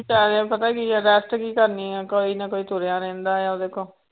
ਪਤਾ ਕੀ ਹੈ rest ਕੀ ਕਰਨੀ ਹੈ ਕੋਈ ਨਾ ਕੋਈ ਤੁਰਿਆ ਰਹਿੰਦਾ ਹੈ ਉਹਦੇ ਕੋਲ।